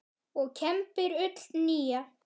og kembir ull nýja.